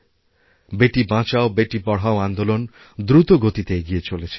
বেটি বাঁচাও বেটি পড়াও আন্দোলন দ্রুত গতিতে এগিয়ে চলেছে